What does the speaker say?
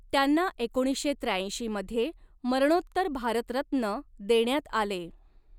त्यांना एकोणीसशे त्र्याऐंशी मध्ये मरणोत्तर भारतरत्न देण्यात आले.